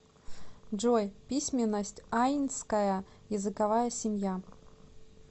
джой письменность айнская языковая семья